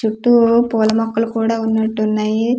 చుట్టూ పూల మొక్కలు కూడా ఉన్నటు ఉన్నాయి వ--